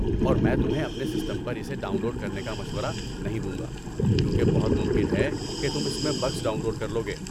اور میں تمہیں اپنے سسٹم پر اسے ڈاؤن لوڈ کرنے کا مشورہ نہیں دوں گا کیونکہ بہت ممکن ہے کہ تم اس میں بگس ڈاؤن لوڈ کر لو گے۔